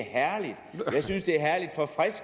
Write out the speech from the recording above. herre